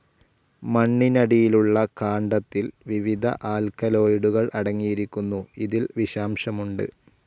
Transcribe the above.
മണ്ണിനടിയിലുള്ള കാണ്ഡത്തിൽ വിവിധ ആൽക്കലോയിഡുകൾ അടങ്ങിയിരിക്കുന്നു. ഇതിൽ വിഷാംശമുണ്ട്.